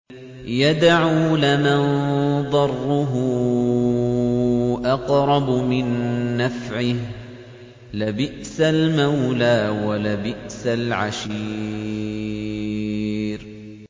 يَدْعُو لَمَن ضَرُّهُ أَقْرَبُ مِن نَّفْعِهِ ۚ لَبِئْسَ الْمَوْلَىٰ وَلَبِئْسَ الْعَشِيرُ